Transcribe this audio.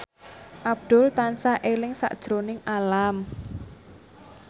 Abdul tansah eling sakjroning Alam